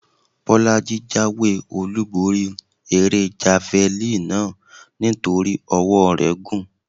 Bọ́lájí jáwé-olúborí eré javalínì náà nítorí ọwọ́ọ rẹ̀ gùn.